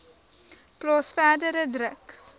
plaas verdere druk